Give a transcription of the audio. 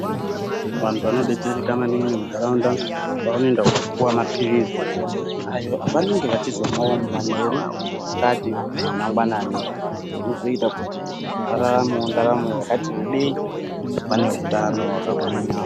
Vantu vanobetsereka maningi mundaraunda pavanoenda kundopowa mapilizi ayo avanenge vachizomwawo manheru, masikati nemangwanani ndozvinoita kuti vararamewo ndaramo yakati rebei vane utano wakagwinya.